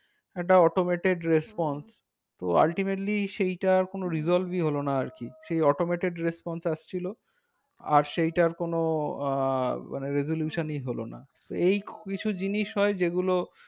একটা automated response তো ultimately সেইটার কোনো result ই হলো না আর কি সেই automated response আসছিলো। আর সেইটার কোনো আহ মানে resolution ই হলো না। এই কিছু জিনিস হয় যেগুলো